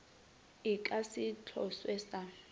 e ka se tlošwe sa